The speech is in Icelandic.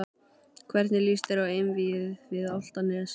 Hvernig lýst þér á einvígið við Álftanes?